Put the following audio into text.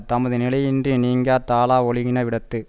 தமது நிலையினின்று நீங்கி தாழ ஒழுகின விடத்து